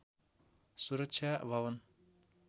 सुरक्षा भवन